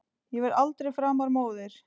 Ég verð aldrei framar móðir.